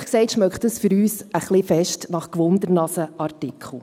Ehrlich gesagt, riecht dies für uns ein wenig sehr nach Neugierartikel.